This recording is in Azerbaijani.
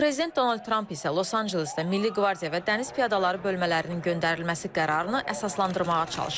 Prezident Donald Tramp isə Los-Ancelesdə milli qvardiya və dəniz piyadaları bölmələrinin göndərilməsi qərarını əsaslandırmağa çalışır.